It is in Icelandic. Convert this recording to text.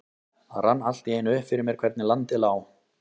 Það rann allt í einu upp fyrir mér hvernig landið lá.